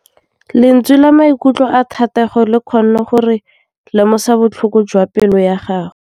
Lentswe la maikutlo a Thategô le kgonne gore re lemosa botlhoko jwa pelô ya gagwe.